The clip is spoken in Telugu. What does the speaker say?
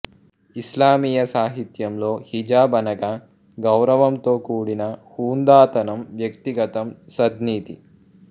ఇస్లామీయ సాహిత్యంలో హిజాబ్ అనగా గౌరవంతో కూడిన హుందాతనం వ్యక్తిగతం సద్నీతి